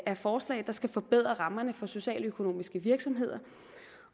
af forslag der skal forbedre rammerne for socialøkonomiske virksomheder